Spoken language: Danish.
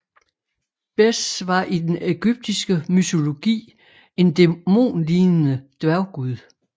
Bes var i den ægyptiske mytologi en dæmonlignende dværggud